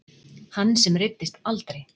Hann sem reiddist aldrei.